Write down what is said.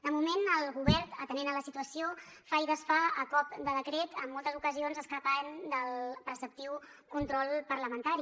de moment el govern atenent a la situació fa i desfà a cop de decret i en moltes ocasions s’escapa del preceptiu control parlamentari